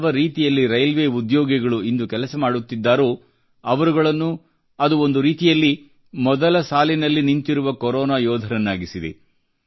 ಯಾವರೀತಿಯಲ್ಲಿ railway ಉದ್ಯೋಗಿಗಳು ಇಂದು ಕೆಲಸ ಮಾಡುತ್ತಿದ್ದಾರೋ ಅವರುಗಳು ಒಂದು ರೀತಿಯಲ್ಲಿ ಮೊದಲ ಸಾಲಿನಲ್ಲಿ ನಿಂತಿರುವ ಕೊರೊನಾ ಯೋಧರಾಗಿದ್ದಾರೆ